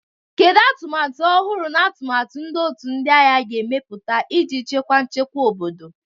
Kedu atụmatụ ọhụrụ na atụmatụ ndị otu ndị agha ga-emepụta iji chekwa nchekwa obodo?